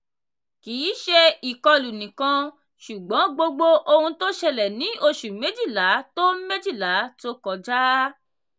kì í ṣe ìkọlù nìkan ṣùgbọ́n gbogbo ohun tó ṣẹlẹ̀ ní oṣù méjìlá tó méjìlá tó kọjá.